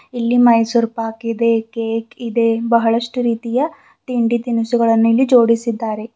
ಇಲ್ಲಿ ಮೈಸೂರ್ ಪಾಕ್ ಇದೆ ಕೇಕ್ ಇದೆ ಬಹಳಷ್ಟು ರೀತಿಯ ತಿಂಡಿ ತಿನಿಸುಗಳನ್ನು ಇಲ್ಲಿ ಜೋಡಿಸಿದ್ದಾರೆ.